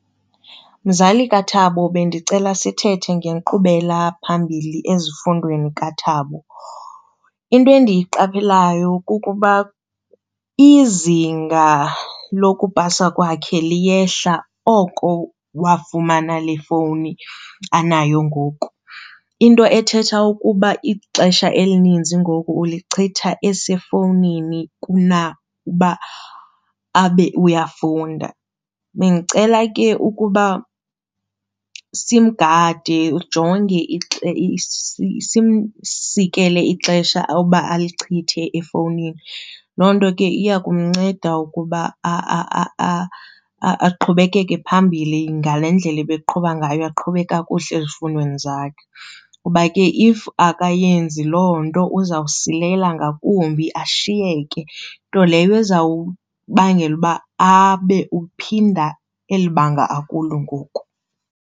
Mzali kaThabo, bendicela sithethe ngenkqubela phambili ezifundweni kaThabo. Into endiyiqapheleyo kukuba izinga lokupasa kwakhe liyehla oko wafumana le fowuni anayo ngoku, into ethetha ukuba ixesha elininzi ngoku ulichitha esefowunini kunakuba abe uyafunda. Bendicela ke ukuba simgade ujonge, simsikele ixesha awuba alichithe efowunini loo nto ke iya kumnceda ukuba aqhubekeke phambili ngale ndlela abeqhuba ngayo, aqhube kakuhle ezifundweni zakhe. Kuba ke if akayenzi loo nto uzawusilela ngakumbi ashiyeke, nto leyo izawubangela uba abe uphinda eli banga akulo ngoku.